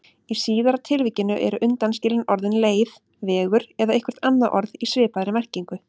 Í síðara tilvikinu eru undanskilin orðin leið, vegur eða eitthvert annað orð í svipaðri merkingu.